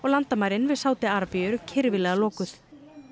landamærin við Sádi Arabíu eru kyrfilega lokuð